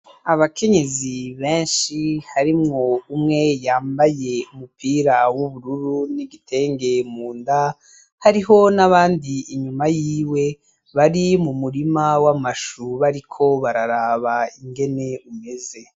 Abakenyezi benshi harimwo umwe yambaye umupira w'ubururu n'igitenge mu nda, hariho n'abandi inyuma yiwe bari mu murima w'amashu bariko bararaba ingene umeze.